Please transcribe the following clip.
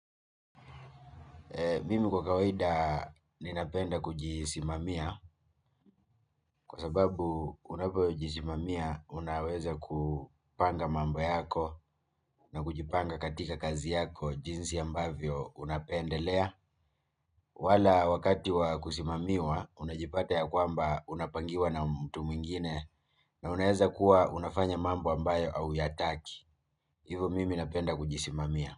Mimi kwa kawaida ninapenda kujisimamia kwa sababu unapojisimamia unaweza kupanga mambo yako na kujipanga katika kazi yako jinsi ambavyo unapendelea. Wala wakati wa kusimamiwa unajipata ya kwamba unapangiwa na mtu mwingine na unaweza kuwa unafanya mambo ambayo auyataki. Hivo mimi napenda kujisimamia.